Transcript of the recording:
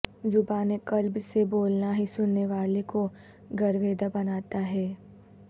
زبان قلب سے بولنا ہی سننے والے کو گرویدہ بناتا ہے